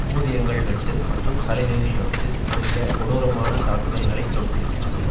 ஊதியங்கள் வெட்டு மற்றும் சலுகைகள் இரத்து முதலிய கொடூரமான தாக்குதல்களை தொடுத்திருக்கிறது